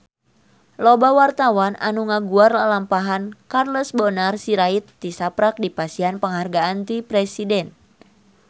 Loba wartawan anu ngaguar lalampahan Charles Bonar Sirait tisaprak dipasihan panghargaan ti Presiden